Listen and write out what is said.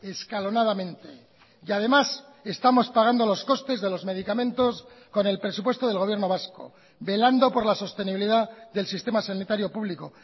escalonadamente y además estamos pagando los costes de los medicamentos con el presupuesto del gobierno vasco velando por la sostenibilidad del sistema sanitario público